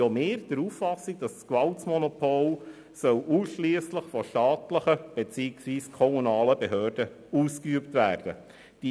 Auch wir sind der Auffassung, dass das Gewaltmonopol ausschliesslich von staatlichen beziehungsweise kommunalen Behörden ausgeübt werden soll.